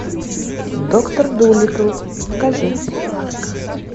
доктор дулитл покажи